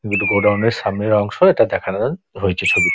godown - এর সামনের অংশ এটা দেখানো হয়েছে ছবি |